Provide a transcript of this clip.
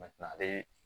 ale